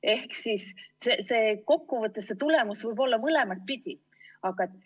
Ehk siis kokkuvõttes see tulemus võib olla mõlemat pidi.